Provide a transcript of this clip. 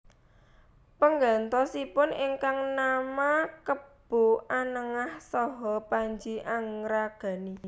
Penggantosipun ingkang nama Kebo Anengah saha Panji Angragani